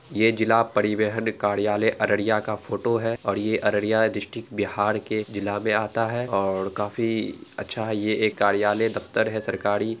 यह जिला परिवहन कार्यालय अररिया का फोटो है और यह अररिया डिस्ट्रिक्ट बिहार के जिला में आता है और काफी अच्छा है यह कार्यालय दफ्तर है सरकारी।